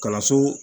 Kalanso